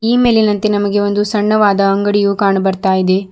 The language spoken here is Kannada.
ಈ ಮೇಲಿನಂತೆ ನಮಗೆ ಒಂದು ಸಣ್ಣವಾದ ಅಂಗಡಿಯು ಕಾಣ್ ಬರ್ತಾ ಇದೆ.